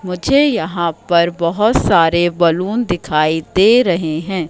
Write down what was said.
मुझे यहाँ पर बहोत सारे बलून दिखाई दे रहे है।